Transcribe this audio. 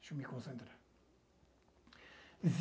Deixa eu me concentrar.